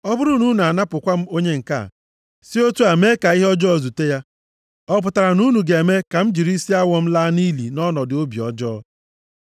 Ọ bụrụ na unu anapụkwa m onye nke a, si otu a mee ka ihe ọjọọ zute ya, ọ pụtara na unu ga-eme ka m jiri isi awọ m laa nʼili nʼọnọdụ obi ọjọọ?’